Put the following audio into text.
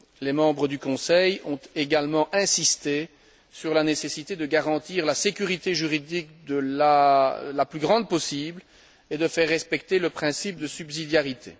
Les membres du Conseil ont également insisté sur la nécessité de garantir la sécurité juridique la plus grande possible et de faire respecter le principe de subsidiarité.